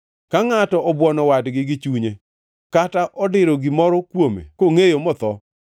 Ka ngʼato obwono wadgi gi chunye kata odiro gimoro kuome kongʼeyo motho,